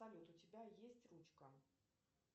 салют у тебя есть ручка